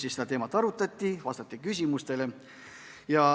Seal seda teemat arutati ja vastati küsimustele.